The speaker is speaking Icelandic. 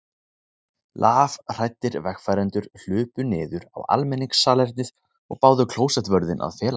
Lafhræddir vegfarendur hlupu niður á almenningssalernið og báðu klósettvörðinn að fela sig.